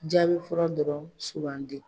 Jaabi fura dɔrɔn sugandi.